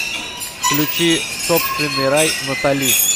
включи собственный рай натали